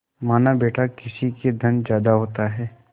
मानाबेटा किसी के धन ज्यादा होता है